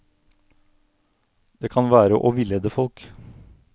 Det kan være å villede folk.